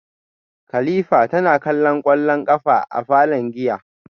kilifa tana kallon kwallo a falon giya